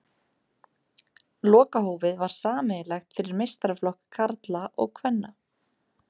Lokahófið var sameiginlegt fyrir meistaraflokk karla og kvenna.